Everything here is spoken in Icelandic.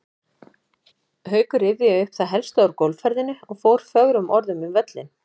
Haukur rifjaði upp það helsta úr golfferðinni og fór fögrum orðum um völlinn.